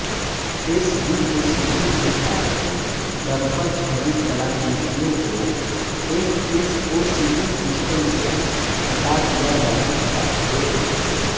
SD-OCT के साथ दर्पण छवि कलाकृतियों को एसएसओसीटी सिस्टम से हटा दिया जाना चाहिए